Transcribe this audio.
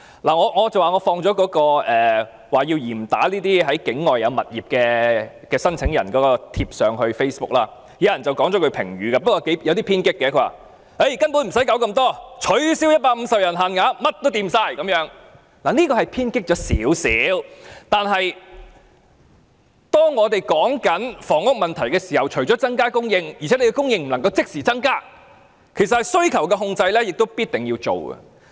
我剛才提到放上 Facebook 有關要求嚴打那些持境外物業的公屋申請人的帖文，有人回應了一句有點偏激的評語，他說："根本不用搞這麼多，取消150人的限額便甚麼也解決"，這句話是有一點兒偏激，但當我們討論房屋問題時，除了增加供應，而且供應亦不能即時增加時，需求控制也是必定要做好的。